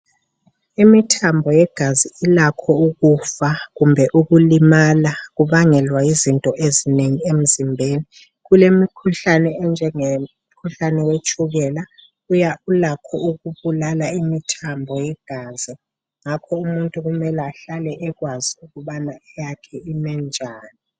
Imithambo yegazi ilakho ukufa kumbe ukulimala kubangelwa yizinto ezinengi emzimbeni. Kulemikhuhlane enjenge mkhuhlane wetshukela ulakho ukubulala imithambo yegazi. Ngakho umuntu kumele ahlale ekwazi ukuthi eyakhe ime njani.